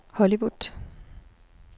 Hollywood